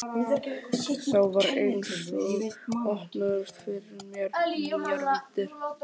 Þá var einsog opnuðust fyrir mér nýjar víddir.